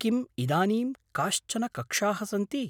किम् इदानीं काश्चन कक्षाः सन्ति?